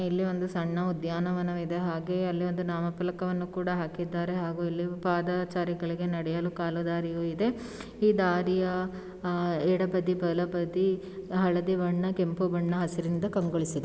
ಇಲ್ಲಿ ಒಂದು ಸಣ್ಣ ಉದ್ಯಾನವಾನವಿದೆ ಹಾಗೆ ಅಲ್ಲಿ ಒಂದು ನಾಮ ಪಾಲಕವನ್ನು ಕೂಡ ಹಾಕಿದ್ದಾರೆ ಹಾಗು ಇಲ್ಲಿ ಪಾದಾಚಾರಿಗಳಿಗೆ ನಡೆಯಲು ಕಾಲು ದಾರಿಯು ಇದೆ. ಈ ದಾರಿಯ ಹಾ ಎಡಬದಿ ಬಲಬದಿ ಹಳದಿ ಬಣ್ಣ ಕೆಂಪು ಬಣ್ಣ ಹಸಿರಿನಿಂದ ಕಂಗೊಳಿಸಿದೆ.